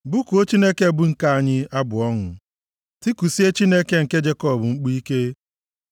Bụkuo Chineke bụ ike anyị abụ ọṅụ, tikusie Chineke Jekọb mkpu ike!